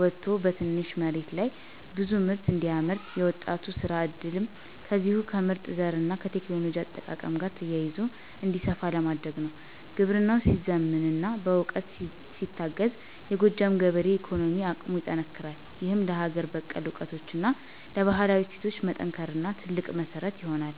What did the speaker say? ወጥቶ በትንሽ መሬት ላይ ብዙ ምርት እንዲያመርት፣ የወጣቱ የሥራ ዕድልም ከዚሁ ከምርጥ ዘርና ከቴክኖሎጂ አጠቃቀም ጋር ተያይዞ እንዲሰፋ ለማድረግ ነው። ግብርናው ሲዘምንና በዕውቀት ሲታገዝ፣ የጎጃም ገበሬ የኢኮኖሚ አቅሙ ይጠነክራል፤ ይህም ለሀገር በቀል ዕውቀታችንና ለባህላዊ እሴቶቻችን መጠናከር ትልቅ መሠረት ይሆናል።